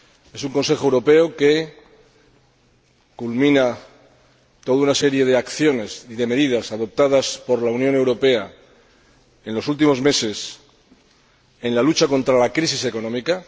Es un Consejo Europeo que culmina toda una serie de acciones y de medidas adoptadas por la Unión Europea en los últimos meses en la lucha contra la crisis económica